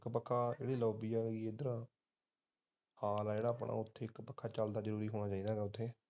ਇੱਕ ਪੱਖਾ ਲੋਬੀ ਜਿੱਥੇ ਹਾਲ ਐ ਆਪਣਾ ਉੱਥੇ ਇੱਕ ਪੱਖਾ ਚੱਲਦਾ ਜਰੂਰ ਹੋਣਾ ਚਾਹੀਦਾ ਐ